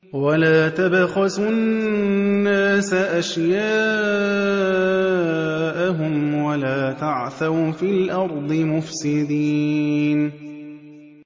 وَلَا تَبْخَسُوا النَّاسَ أَشْيَاءَهُمْ وَلَا تَعْثَوْا فِي الْأَرْضِ مُفْسِدِينَ